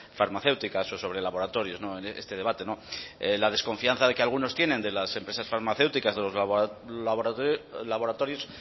farmacéuticas o sobre laboratorios no en este debate no la desconfianza de que algunos tienen de las empresas farmacéuticas de los laboratorios